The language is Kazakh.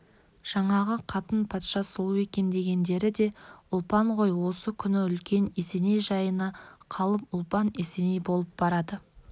жаңағы қатын патша сұлу екен дегендері де ұлпан ғой осы күні үлкен есеней жайына қалып ұлпан есеней болып барады